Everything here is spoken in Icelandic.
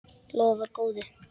Lofar góðu.